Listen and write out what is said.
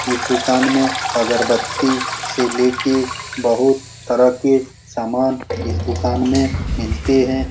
इस दुकान में अगरबत्ती से ले के बहुत तरह के सामान इस दुकान में मिलते है।